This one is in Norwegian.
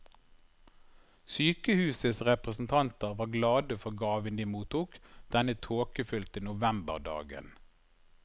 Sykehusets representanter var glade for gaven de mottok denne tåkefylte novemberdagen.